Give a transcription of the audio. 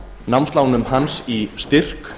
námslánum hans í styrk